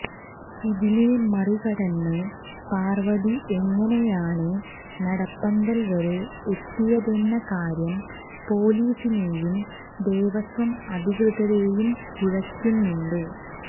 ഇതിനെ മറികടന്ന് പാർവതി എങ്ങനെയാണ് നടപ്പന്തൽ വരെ എത്തിയതെന്ന കാര്യം പൊലീസിനെയും ദേവസ്വം അധികൃതരെയും കുഴക്കുന്നുണ്ട്